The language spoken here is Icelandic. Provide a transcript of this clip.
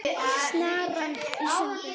Snaran í sundur.